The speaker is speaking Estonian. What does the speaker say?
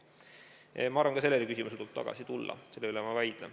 Ma arvan, et ka selle küsimuse juurde tuleb tagasi tulla, selle üle ma ei vaidle.